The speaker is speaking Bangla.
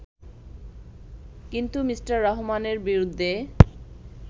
কিন্তু মি: রহমানের বিরুদ্ধে